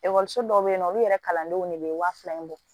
Ekɔliso dɔw bɛ yen nɔ olu yɛrɛ kalandenw de bɛ waa fila in bɔ